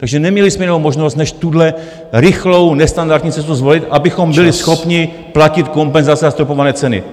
Takže neměli jsme jinou možnost než tuhle rychlou, nestandardní cestu zvolit, abychom byli schopni platit kompenzace za zastropované ceny.